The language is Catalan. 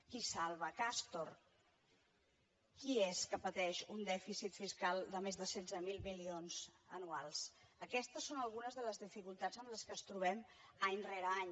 qui salva castor qui és que pateix un dèficit fiscal de més de setze mil milions anuals aquestes són algunes de les dificultats amb què ens trobem any rere any